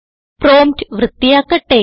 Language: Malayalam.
പ്രോംപ്റ്റ് വൃത്തിയാക്കട്ടെ